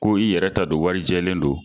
Ko i yɛrɛ ta don warijɛlen don.